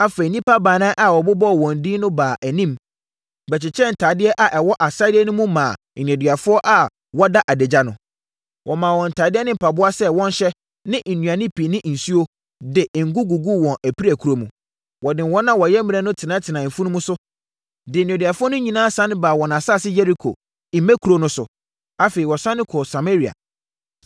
Afei, nnipa baanan a wɔbobɔɔ wɔn din no baa anim, bɛkyekyɛɛ ntadeɛ a ɛwɔ asadeɛ no mu no maa nneduafoɔ a wɔda adagya no. Wɔmaa wɔn ntadeɛ ne mpaboa sɛ wɔnhyɛ ne nnuane pii ne nsuo, de ngo guguu wɔn apirakuro mu. Wɔde wɔn a wɔyɛ mmrɛ no tenatenaa mfunumu so, de nneduafoɔ no nyinaa sane baa wɔn asase Yeriko, mmɛkuro, no so. Afei, wɔsane kɔɔ Samaria.